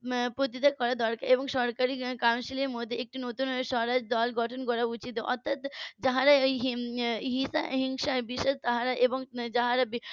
প্রতিকার করা দরকার এবং সরকারি council এর মধ্যে একটি নতুন স্বরাজ দল গঠন করা উচিত অর্থাৎ যারা এই হিংসার বিশেষ তারা এবং যারা